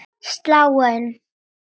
Sláin inn.